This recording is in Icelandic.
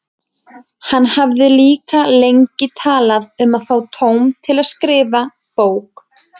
Hann hafði líka lengi talað um að fá tóm til að skrifa bók.